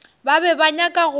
ba be ba nyaka go